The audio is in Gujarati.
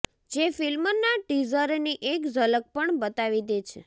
જે ફિલ્મના ટીઝરની એક ઝલક પણ બતાવી દે છે